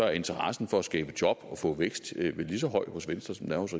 er interessen for at skabe job og få vækst vel lige så høj hos venstre som